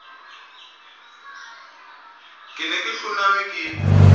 ke ne ke hloname ke